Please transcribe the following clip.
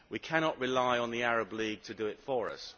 We cannot rely on the Arab League to do it for us.